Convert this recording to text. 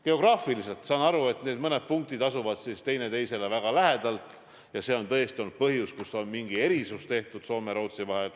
Geograafiliselt, saan aru, need mõned punktid asuvad teineteisele väga lähedal ja see on tõesti olnud põhjus, miks on mingi erand tehtud Soome ja Rootsi vahel.